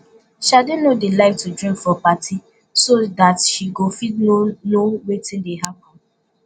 shade no dey like to drink for party so dat she go fit know know wetin dey happen